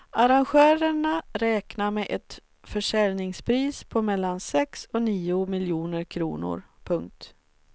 Arrangörerna räknar med ett försäljningspris på mellan sex och nio miljoner kronor. punkt